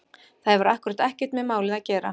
Það hefur akkúrat ekkert með málið að gera!